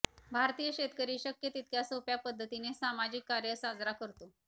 भारतीय शेतकरी शक्य तितक्या सोप्या पद्धतीने सामाजिक कार्य साजरा करतो